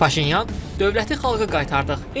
Paşinyan: Dövləti xalqa qaytardıq.